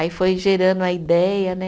Aí foi gerando a ideia, né?